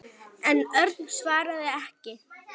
En Örn svaraði ekki.